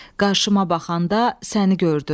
Qarşıma baxanda səni gördüm.